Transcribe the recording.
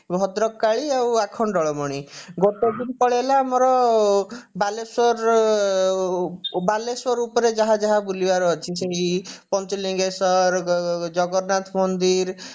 ଭଦ୍ରକ କାଳୀ ଆଉ ଆଖଣ୍ଡଳମଣି ଗୋଟେ ଦିନ ପଳେଇଲା ଆମର ବାଲେଶ୍ଵରର ବାଲେଶ୍ଵର ଉପରେ ଯାହା ଯାହା ବୁଲିବାର ଅଛି ସେଇ ପଞ୍ଚଲିଙ୍ଗେଶ୍ଵର ଜଗନ୍ନାଥ ମନ୍ଦିର